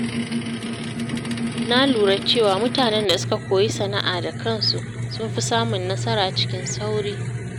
Na lura cewa mutanen da suka koyi sana’a da kansu sun fi samun nasara cikin sauri.